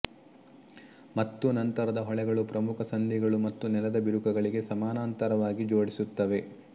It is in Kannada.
ಮತ್ತು ನಂತರದ ಹೊಳೆಗಳು ಪ್ರಮುಖ ಸಂಧಿಗಳು ಮತ್ತು ನೆಲದ ಬಿರುಕುಗಳಿಗೆ ಸಮಾನಾಂತರವಾಗಿ ಜೋಡಿಸುತ್ತವೆ